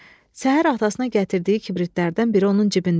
Səhər atasına gətirdiyi kibritlərdən biri onun cibində idi.